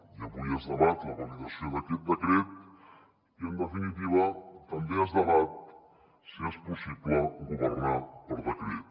i avui es debat la validació d’aquest decret i en definitiva també es debat si és possible governar per decret